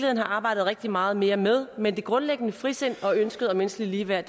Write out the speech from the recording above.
have arbejdet rigtig meget mere med men det grundlæggende frisind og ønsket om menneskeligt ligeværd